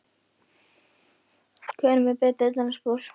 Hver er með betri dansspor?